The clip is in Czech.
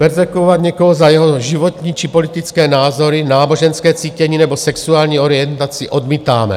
Perzekvovat někoho za jeho životní či politické názory, náboženské cítění nebo sexuální orientaci odmítáme.